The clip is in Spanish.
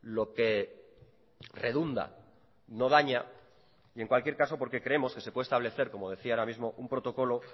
lo que redunda no daña y en cualquier caso porque creemos que se puede establecer como decía ahora mismo un protocolo